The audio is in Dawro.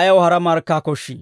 ayaw hara markkaa koshshii?